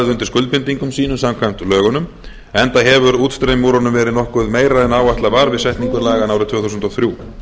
undir skuldbindingum sínum samkvæmt lögunum enda hefur útstreymi úr honum verið nokkuð meira en áætlað var við setningu laganna árið tvö þúsund og þrjú